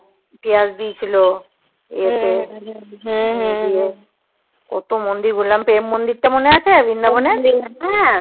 পেঁয়াজ দিয়েছিলো ইয়েত কত মন দিয়ে ঘুরলাম প্রেম মন্দির টা মনে আছে বৃন্দাবন এ